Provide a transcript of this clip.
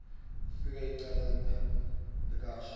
ifike icalate sikhashana